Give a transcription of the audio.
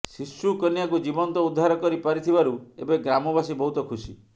ଶିଶୁକନ୍ୟାକୁ ଜୀବନ୍ତ ଉଦ୍ଧାର କରି ପାରିଥିବାରୁ ଏବେ ଗ୍ରାମବାସୀ ବହୁତ ଖୁସି